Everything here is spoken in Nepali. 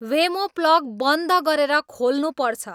वेमो प्लग बन्द गरेर खोल्नुपर्छ